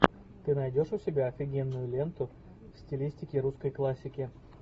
ты найдешь у себя офигенную ленту в стилистике русской классики